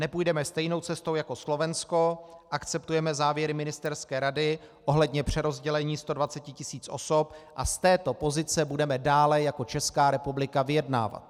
Nepůjdeme stejnou cestou jako Slovensko, akceptujeme závěry ministerské rady ohledně přerozdělení 120 tisíc osob a z této pozice budeme dále jako Česká republika vyjednávat.